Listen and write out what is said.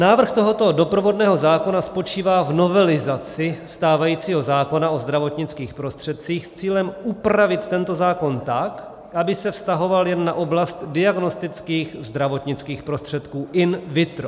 Návrh tohoto doprovodného zákona spočívá v novelizaci stávajícího zákona o zdravotnických prostředcích s cílem upravit tento zákon tak, aby se vztahoval jen na oblast diagnostických zdravotnických prostředků in vitro.